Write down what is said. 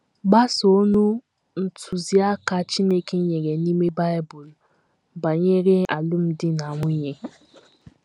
Gbasoonụ ntụziaka Chineke nyere n’ime Bible banyere alụmdi na nwunye